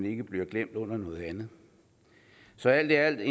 ikke bliver glemt under noget andet så alt i alt er